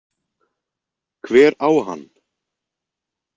Hver á hann?